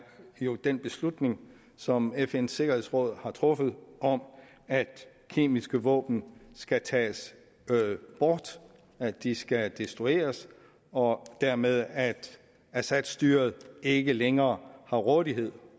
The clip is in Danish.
jo den beslutning som fns sikkerhedsråd har truffet om at kemiske våben skal tages bort at de skal destrueres og dermed at assad styret ikke længere har rådighed